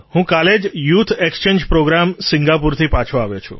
sir હું કાલે જ યૂથ ઍક્સચેન્જ પ્રૉગ્રામ સિંગાપોરથી પાછો આવ્યો છું